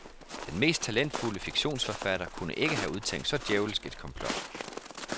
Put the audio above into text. Den mest talentfulde fiktionsforfatter kunne ikke have udtænkt så djævelsk et komplot.